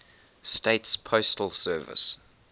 states postal service